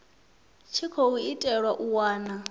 tshi khou itelwa u wana